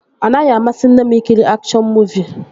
Ọ naghị amasị nne m ị kiri akshọn muuvi